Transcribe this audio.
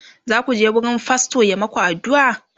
zaku je wurin fastor ya maku addu'a?